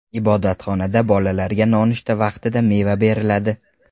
Ibodatxonada bolalarga nonushta vaqtida meva beriladi.